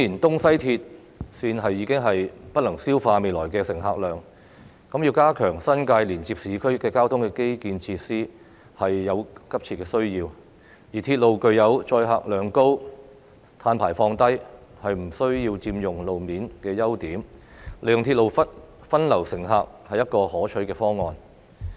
東、西鐵綫顯然已經不能消化未來的乘客量，加強新界連接市區的交通基建設施有急切的需要，而鐵路具有載客量高、碳排放低、不需要佔用路面等優點，利用鐵路分流乘客是一個可取的方案。